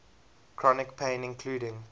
chronic pain including